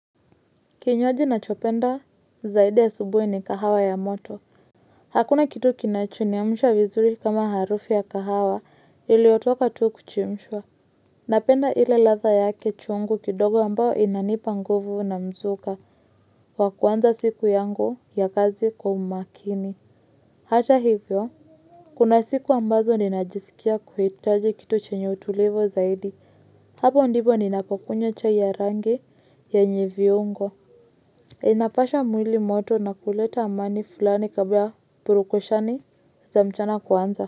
Kinywaji nachopenda zaidi asubuhi ni kahawa ya moto. Hakuna kitu kinachoniamsha vizuri kama harufu ya kahawa iliotoka tu kuchemshwa. Napenda ile ladha yake chungu kidogo ambao inanipa nguvu na mzuka wa kuanza siku yangu ya kazi kwa umakini. Hata hivyo, kuna siku ambazo ninajisikia kuhitaji kitu chenye utulivu zaidi. Hapo ndibo ninapokunywa chai ya rangi yenye viungo. Inapasha mwili moto na kuleta amani fulani kabla purukushani za mchana kuanza.